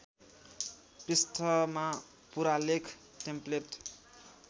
पृष्ठमा पूरालेख टेम्प्लेट